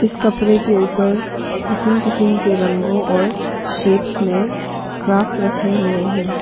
कपरे के ऊपर किसीम किसीम के रंगों और शेप्स में क्राफ्ट्स रखे हुए हैं।